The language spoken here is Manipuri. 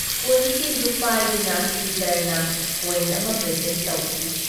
ꯀꯣꯏꯟꯁꯤꯟꯗꯨ ꯄꯥꯏꯗꯨꯅ ꯄꯤꯇꯔꯗ ꯀꯣꯏꯟ ꯑꯃ ꯄ꯭ꯔꯦꯖꯦꯟꯠ ꯇꯧꯈꯤ ꯫